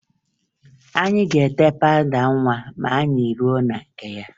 Anyị ga-ete pawụda nwa ma anyị ruo na nke ya